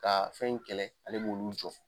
Ka fɛn in kɛlɛ ale b'olu jɔ.